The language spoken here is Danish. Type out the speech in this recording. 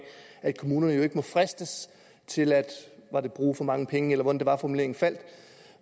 at kommunerne ikke må fristes til at bruge for mange penge eller hvordan det var formuleringen faldt